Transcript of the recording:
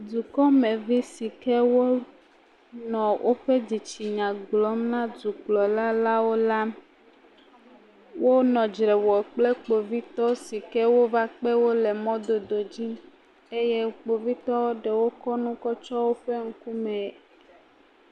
Dukɔmevi si ke wonɔ woƒe dzitsinya gblɔm na Dukplalalawo la wonɔ dzre wɔ kple Kpovitɔ si ke wova kpe wo le mɔdododzi eye Kpovitɔ eɖewo kɔ nu kɔ tsyɔ woƒe ŋkume.